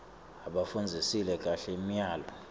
abafundzisise kahle imiyalo